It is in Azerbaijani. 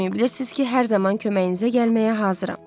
Susmayın, bilirsiz ki, hər zaman köməyinizə gəlməyə hazıram.